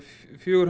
fjögur